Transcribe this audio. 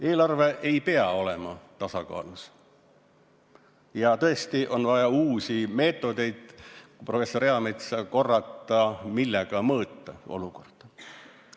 Eelarve ei pea olema tasakaalus ja tõesti on vaja uusi meetodeid, kui professor Eametsa korrata, millega olukorda mõõta.